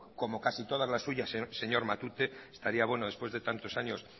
como casi todas las suyas señor matute estaría bueno después de tantos años